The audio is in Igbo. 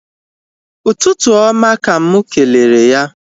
Ụtụtụ oma ka mụ kelere ya